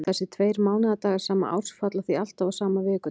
Þessir tveir mánaðardagar sama árs falla því alltaf á sama vikudag.